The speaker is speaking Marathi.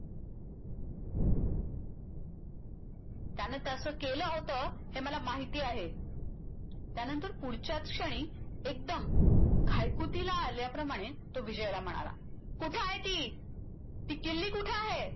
काये त्याच्यामधे एक amoneti display